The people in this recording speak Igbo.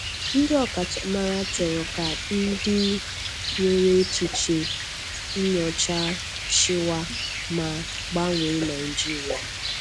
Ndị ọkachamara chọrọ ka ndị nwere echiche nnyọcha chịwa, ma gbanwee Naijiria.